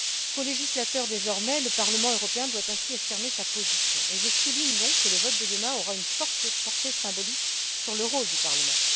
Colégislateur désormais, le Parlement européen doit ainsi affirmer sa position, et je souligne donc que le vote de demain aura une forte portée symbolique sur le rôle du Parlement.